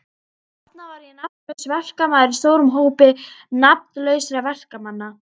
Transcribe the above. Þarna var ég nafnlaus verkamaður í stórum hópi nafnlausra verkamanna.